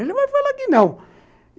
Ele vai falar que não.